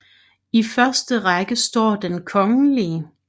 I første række står Den kgl